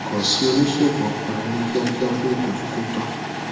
kàn sí oníṣègùn ọpọlọ ní kíákíá fún ìtọjú tó tọ